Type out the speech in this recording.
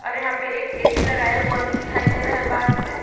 और यहां पे एक ए_सी लगाया हुआ भी दिखाई दे रहा है बाहर से।